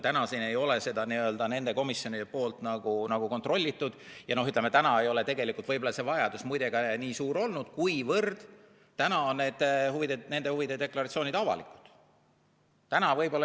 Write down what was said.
Täna ei ole need komisjonid seda kontrollinud ja, ütleme, täna ei ole tegelikult võib-olla see vajadus ka suur olnud, kuna nende inimeste huvide deklaratsioonid on avalikud.